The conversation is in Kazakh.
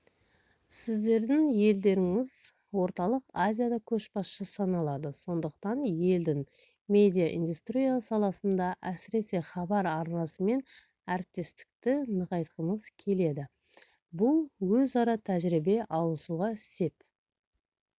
сіздердің елдеріңіз орталық азияда көшбасшы саналады сондықтан елдің медиаиндустрия саласында әсіресе хабар арнасымен әріптестікті нығайтқымыз келеді бұл өзара тәжірибе алысуға сеп